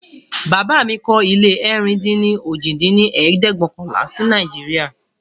Bàbá mí kọ́ ilé ẹ̀rin-dín-ní-ojì dín ní ẹ̀ẹ́dẹ́gbẹ́ọ̀kànlá si Nàìjíríà